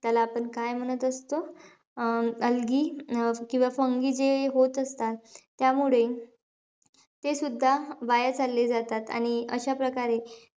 त्याला आपण काय म्हणत असतो? अं algae अं किंवा fungi जे होत असतात. त्यामुळे ते सुद्धा वाया चालले जातात. आणि अशा प्रकारे,